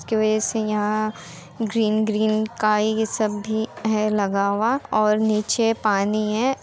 जिसके वजह से यहाँ ग्रीन ग्रीन काई सब भी है लगा हुआ और नीचे पानी है।